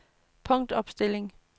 punktopstilling